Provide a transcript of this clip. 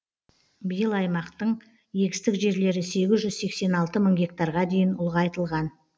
биыл аймақтың егістік жерлері сегіз жүз сексен алты мың гектарға дейін ұлғайтылған